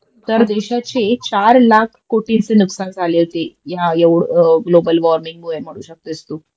तर देशाची चार लाख कोटीचे नुकसान झाले होते ह्या एवं ग्लोबल वॉर्मिंगमुळे तू